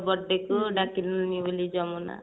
birthday କୁ ଡାକିଲାନି ବୋଲି ଯମୁନା